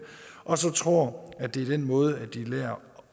og tror at det er den måde de lærer